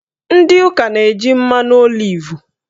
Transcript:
Ndị ụka na-eji mmanụ olivu